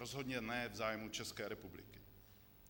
Rozhodně ne v zájmu České republiky.